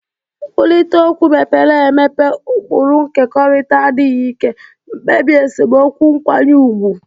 Nkwurịta okwu mepere emepe, ụkpụrụ nkekọrịta, adịghị ike, mkpebi esemokwu nkwanye ùgwù.